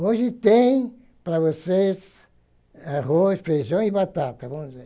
Hoje tem para vocês arroz, feijão e batata, vamos dizer.